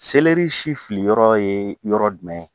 Seleri si fili yɔrɔ ye yɔrɔ jumɛn ye?